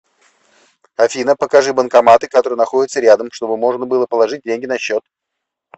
афина покажи банкоматы которые находятся рядом чтобы можно было положить деньги на счет